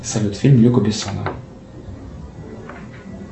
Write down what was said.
салют фильм люка бессона